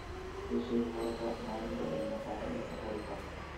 ii sheeg maraqa maalinta ee maqaaxida safari park